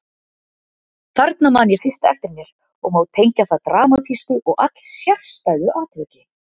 Þarna man ég fyrst eftir mér og má tengja það dramatísku og allsérstæðu atviki.